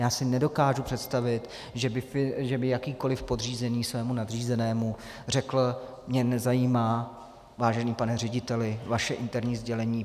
Já si nedokážu představit, že by jakýkoli podřízený svému nadřízenému řekl: Mně nezajímá, vážený pane řediteli, vaše interní sdělení.